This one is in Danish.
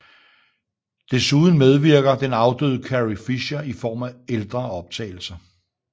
Desuden medvirker den afdøde Carrie Fisher i form af ældre optagelser